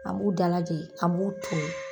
An b'u dalajɛ, an b'u ton.